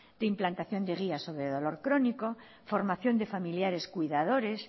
de implantación de guías sobre dolor crónico formación de familiares cuidadores